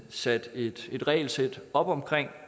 sat et regelsæt op omkring